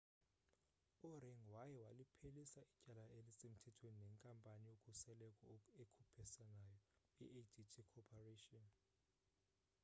u-ring waye waliphelisa ityala elisemthethweni nenkampani yokhuseleko ekhuphisanayo i-adt corporation